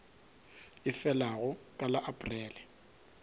e felago ka la aprele